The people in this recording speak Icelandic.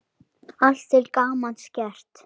Allt til gamans gert.